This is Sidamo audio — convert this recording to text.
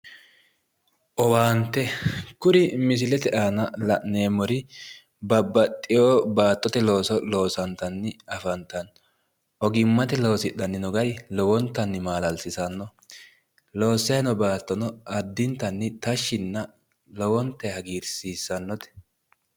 Owaante, kuri misilete aana la'neemmori babbaxxeewo baattote looso loosantanni afantanno. Ogimmate loosidhanni no gari lowantanni maala'lisanno. Loossayi no baattono addintanni tashshinna lowontayi hagiirsiissannote.